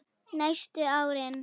Næstu árin.